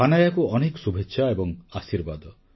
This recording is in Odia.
ହାନାୟାକୁ ଅନେକ ଶୁଭେଚ୍ଛା ଏବଂ ଆଶୀର୍ବାଦ